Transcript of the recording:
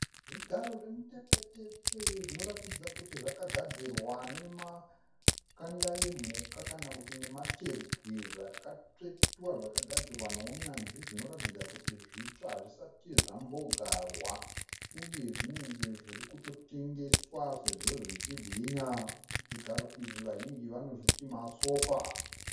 Zvigaro zvemutefetefe zvinoratidza kuti zvakagadzirwa nemakanda emhuka kana kuti nematebwe zvakatsvetwa zvakagadzirwa nounyanzvi zvinoratidza kuti zvitsva hazvisati zvambogarwa uye zvinenge zviri kutotengeswa sezvo zvichibwinya zvigaro izvi vazhinji vanozviti masofa.